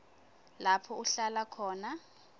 lapho uhlala khona